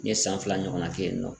N ye san fila ɲɔgɔnna ke yen nɔ.